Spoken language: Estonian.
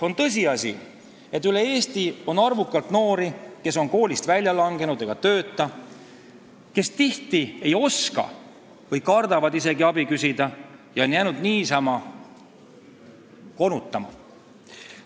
On tõsiasi, et üle Eesti on arvukalt noori, kes on koolist välja langenud ega tööta, kes tihti ei oska või isegi kardavad abi küsida ja on jäänud niisama konutama.